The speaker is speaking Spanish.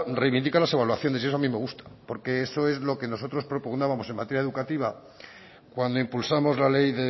reivindica las evaluaciones y eso a mí me gusta porque eso es lo que nosotros propugnábamos en materia educativa cuando impulsamos la ley